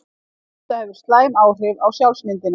Þetta hefur slæm áhrif á sjálfsmyndina.